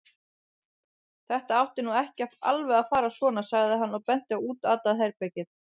Þetta átti nú ekki alveg að fara svona, sagði hann og benti á útatað herbergið.